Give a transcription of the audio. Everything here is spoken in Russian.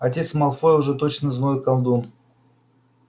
отец малфоя уж точно злой колдун